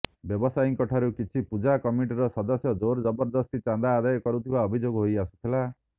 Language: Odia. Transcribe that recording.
ବ୍ୟବସାୟୀଙ୍କ ଠାରୁ କିଛି ପୂଜା କମିଟିର ସଦସ୍ୟ ଜୋରଜବଦସ୍ତି ଚାନ୍ଦା ଆଦାୟ କରୁଥିବା ଅଭିଯୋଗ ହୋଇ ଆସୁଥିଲା